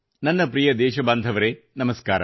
ನನ್ನ ಪ್ರಿಯ ದೇಶಬಾಂಧವರೆ ನಮಸ್ಕಾರ